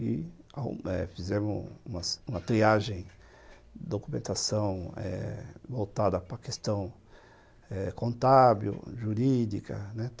e fizemos umas uma triagem de documentação voltada para a questão eh contábil, jurídica, né.